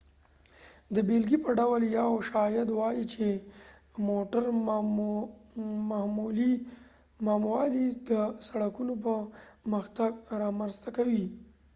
د بیلګې په ډول یو شاید ووایې چې موټر مهموالی د سړکونو پرمختګ رامنځته کوي